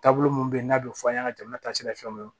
Taabolo minnu bɛ yen n'a bɛ fɔ an ɲɛna jamana taasira fɛnw ye